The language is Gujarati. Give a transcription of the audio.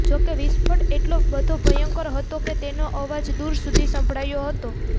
જો કે વિસ્ફોટ એટલો બધો ભયંકર હતો કે તેનો અવાજ દૂર સુધી સંભળાયો હતો